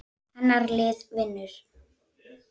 Hennar lið vinnur.